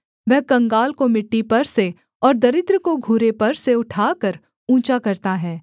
वह कंगाल को मिट्टी पर से और दरिद्र को घूरे पर से उठाकर ऊँचा करता है